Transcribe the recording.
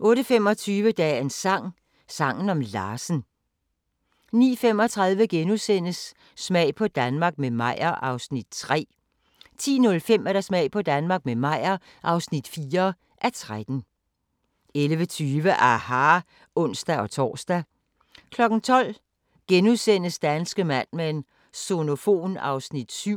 08:25: Dagens sang: Sangen om Larsen 09:35: Smag på Danmark – med Meyer (3:13)* 10:05: Smag på Danmark – med Meyer (4:13) 11:20: aHA! (ons-tor) 12:00: Danske Mad Men: Sonofon (Afs. 7)*